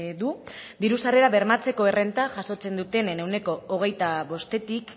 du diru sarrera bermatzeko errenta jasotzen dutenen ehuneko hogeita bostetik